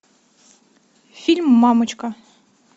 фильм мамочка